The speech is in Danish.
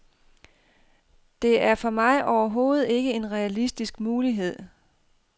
Det er for mig overhovedet ikke en realistisk mulighed.